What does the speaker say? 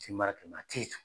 Tinba dima te s